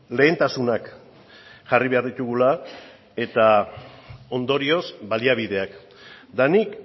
lehentasunak jarri behar ditugula eta ondorioz baliabideak eta nik